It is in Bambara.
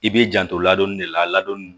I b'i janto ladonni de la ladonni